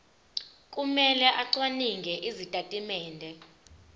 kumele acwaninge izitatimende